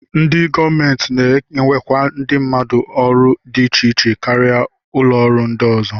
Ndị gọọmenti na-ewekwa ndị mmadụ n'ọrụ dị iche iche karịa ụlọọrụ ndị ọzọ